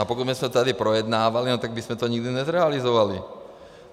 A pokud bychom to tady projednávali, tak bychom to nikdy nezrealizovali.